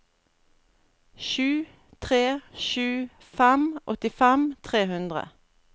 sju tre sju fem åttifem tre hundre